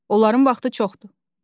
Onların vaxtı çoxdur.